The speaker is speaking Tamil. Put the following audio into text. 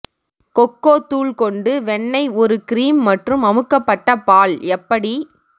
கொக்கோ தூள் கொண்டு வெண்ணெய் ஒரு கிரீம் மற்றும் அமுக்கப்பட்ட பால் எப்படி